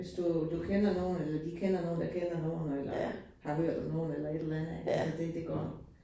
Hvis du du kender nogen, eller de kender nogen, der kender nogen, og eller har hørt om nogen eller et eller andet altså det det går